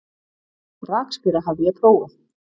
Rakspíra hafði ég prófað.